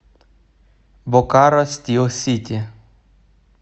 бокаро стил сити